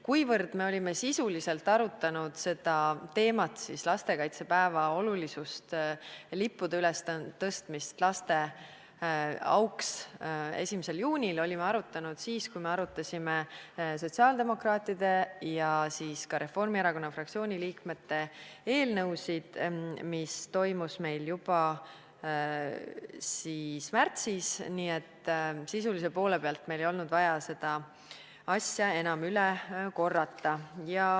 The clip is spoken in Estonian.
Kuivõrd me olime sisuliselt arutanud seda teemat, lastekaitsepäeva olulisust ja lippude heiskamist laste auks 1. juunil, siis, kui me arutasime sotsiaaldemokraatide ja Reformierakonna fraktsiooni liikmete eelnõusid, mis toimus juba märtsis, nii ei olnud sisulise poole pealt meil vaja seda asja enam üle korrata.